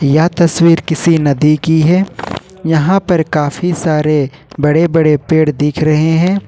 यह तस्वीर किसी नदी की है यहां पर काफी सारे बड़े बड़े पेड़ दिख रहे हैं।